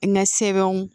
N ka sɛbɛnw